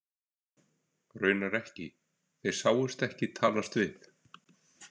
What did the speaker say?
Raunar ekki, þeir sáust ekki talast við.